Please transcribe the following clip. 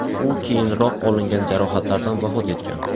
U keyinroq olingan jarohatlardan vafot etgan.